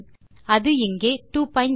அது இங்கே 20